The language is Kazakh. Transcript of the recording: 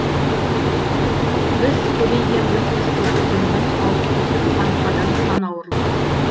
біз көбейгенбіз біз көбейгенбіз ауып түсіп арқадан сан ауырлық